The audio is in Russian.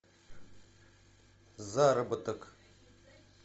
заработок